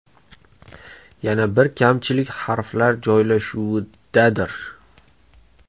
Yana bir kamchilik harflar joylashuvidadir.